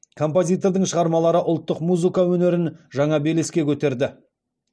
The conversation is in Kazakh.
композитордың шығармалары ұлттық музыка өнерін жаңа белеске көтерді